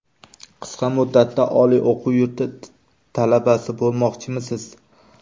Qisqa muddatda oliy o‘quv yurti talabasi bo‘lmoqchimisiz?